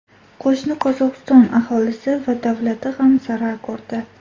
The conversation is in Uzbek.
Qo‘shni Qozog‘iston aholisi va davlati ham zarar ko‘rdi.